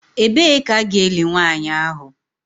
Ebee ka a ga-eli nwanyị ahụ?